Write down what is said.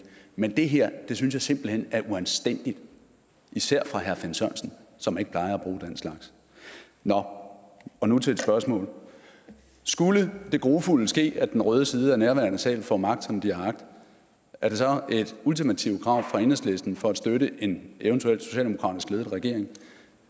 men det her synes jeg simpelt hen er uanstændigt især fra herre finn sørensen som ikke plejer at bruge den slags nå og nu til et spørgsmål skulle det grufulde ske at den røde side af nærværende sal får magt som de har agt er det så et ultimativt krav fra enhedslisten for at støtte en eventuel socialdemokratisk ledet regering